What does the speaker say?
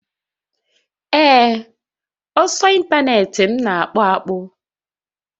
Ee, ọsọ ịntanetị m na akpụ akpụ